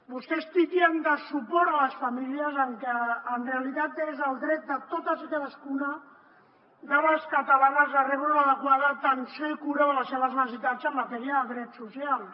vostès titllen de suport a les famílies el que en realitat és el dret de totes i cadascuna de les catalanes a rebre una adequada atenció i cura de les seves necessitats en matèria de drets socials